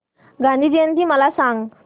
गांधी जयंती मला सांग